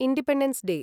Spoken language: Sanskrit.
independence day